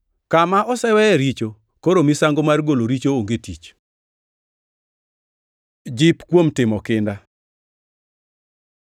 Kama oseweye richo, koro misango mar golo richo onge gi tich. Jip kuom timo kinda